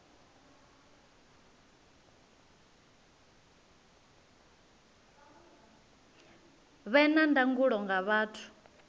vhe na ndangulo nga vhathu